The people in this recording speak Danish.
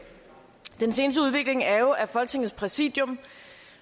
den seneste udvikling er jo at folketingets præsidium